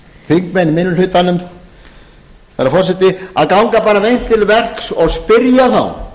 þingmenn í minni hlutanum herra forseti að ganga bara hreint til verks og spyrja þá